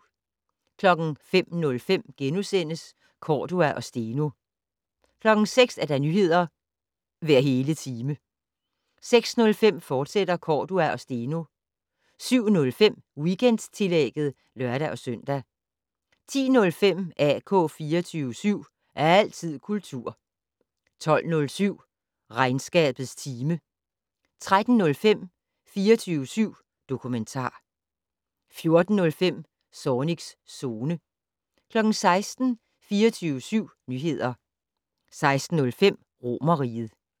05:05: Cordua og Steno * 06:00: Nyheder hver hele time 06:05: Cordua og Steno * 07:05: Weekendtillægget (lør-søn) 10:05: AK 24syv. Altid kultur 12:07: Regnskabets time 13:05: 24syv dokumentar 14:05: Zornigs Zone 16:00: 24syv Nyheder 16:05: Romerriget